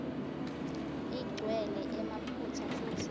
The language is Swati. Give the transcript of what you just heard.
igcwele emaphutsa futsi